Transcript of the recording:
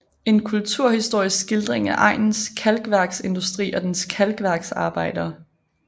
En kulturhistorisk skildring af egnens kalkværksindustri og dens kalkværksarbejdere